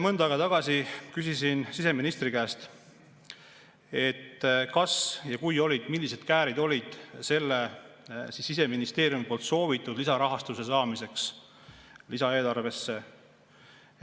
Mõnda aega tagasi küsisin siseministri käest, et kas ja kui olid, siis millised käärid olid selle Siseministeeriumi soovitud lisarahastuse saamiseks lisaeelarvesse.